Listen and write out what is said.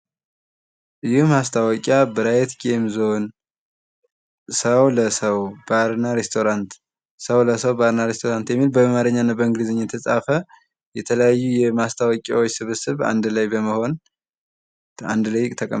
ይህ ማስታወቂያ ብራይት ጌምዞን ሰው ለሰው ባርና ሬስቶራንት ሰው ለሰው ባርና ሬስቶራንት የሚል በአማረኛ እና በእንግሊዘኛ የተጻፈ የተለያዩ የማስታወቂያዎች ስብስብ አንድ ላይ በመሆን አንድ ላይ ተቀምጠዋል።